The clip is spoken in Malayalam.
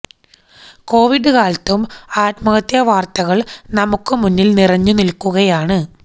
കൊവിഡ് കാലത്തും ആത്മഹത്യ വാര്ത്തകള് നമുക്ക് മുന്നില് നിറഞ്ഞ് നില്ക്കുകയാണ്